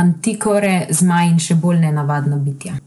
mantikore, zmaji in še bolj nenavadna bitja.